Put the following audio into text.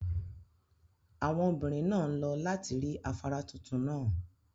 Àwọn obìnrin naa n lo lati rí afárá tuntun náà.